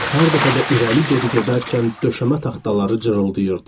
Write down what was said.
Hər dəfə də irəli-geri gedərkən döşəmə taxtaları cırıldayırdı.